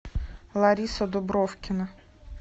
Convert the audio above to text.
лариса дубровкина